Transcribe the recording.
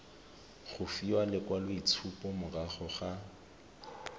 go fiwa lekwaloitshupo morago ga